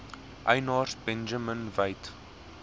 eienaars benjamin weigt